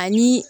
Ani